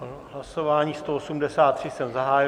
Hlasování 183 jsem zahájil.